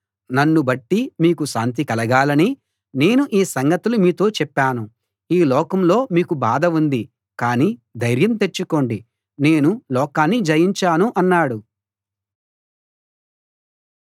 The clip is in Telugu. నన్ను బట్టి మీకు శాంతి కలగాలని నేను ఈ సంగతులు మీతో చెప్పాను ఈ లోకంలో మీకు బాధ ఉంది కాని ధైర్యం తెచ్చుకోండి నేను లోకాన్ని జయించాను అన్నాడు